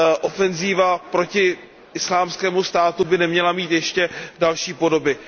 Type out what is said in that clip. ofenziva proti Islámskému státu by neměla mít ještě další podoby.